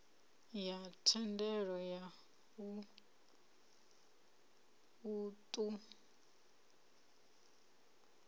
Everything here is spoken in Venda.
ya thendelo ya u ṱun